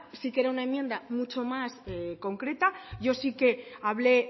sí que era una enmienda mucho más concreta yo sí que hablé